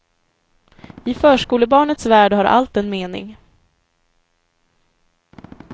I förskolebarnets värld har allt en mening.